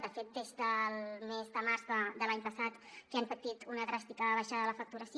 de fet des del mes de març de l’any passat que han patit una dràstica baixada de la facturació